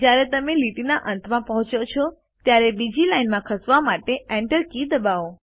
જયારે તમે લીટીના અંતમાં પહુંચો છો ત્યારે બીજી લાઇનમાં ખસેવા માટે Enter કી દબાવો